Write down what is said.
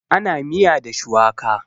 ana miya da shuwaka